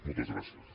moltes gràcies